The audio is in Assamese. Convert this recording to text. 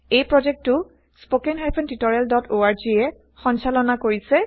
এই প্ৰজেক্টটো httpspoken tutorialorg এ সঞ্চালনা কৰিছে